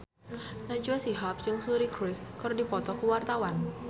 Najwa Shihab jeung Suri Cruise keur dipoto ku wartawan